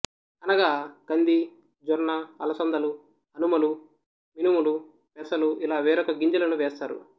అనగా కంది జొన్న అలసందలు అనుములు మినుములు పెసలు ఇలా వేరొక గింజలను వేస్తారు